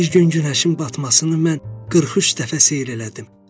Bir gün günəşin batmasını mən 43 dəfə seyr elədim.